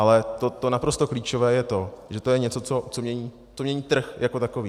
Ale to naprosto klíčové je to, že to je něco, co mění trh jako takový.